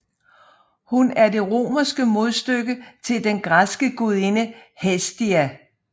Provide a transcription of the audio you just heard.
Hun er det romerske modstykke til den græske gudinde Hestia